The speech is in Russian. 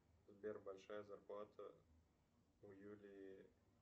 сбер большая зарплата у юлии